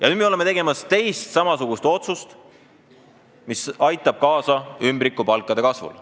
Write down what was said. Nüüd me oleme tegemas teist samasugust otsust, mis aitab kaasa ümbrikupalkade kasvule.